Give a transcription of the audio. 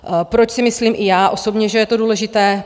Proč si myslím i já osobně, že je to důležité?